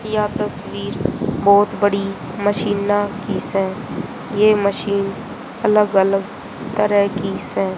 या तस्वीर बहोत बड़ी मशीना की से यह मशीन अलग अलग तरह की से।